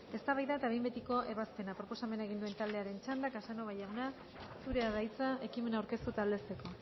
eztabaida eta behin betiko ebazpena proposamena egin duen taldearen txanda casanova jauna zurea da hitza ekimena aurkeztu eta aldezteko